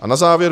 A na závěr.